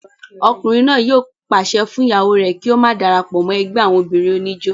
ọkùnrin náà yóò pàṣẹ fún ìyàwó rẹ̀ kí ó má darapọ̀ mọ́ ẹgbẹ́ àwọn obìnrin oníjó